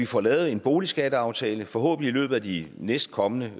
får lavet en boligskatteaftale forhåbentlig i løbet af de næstkommende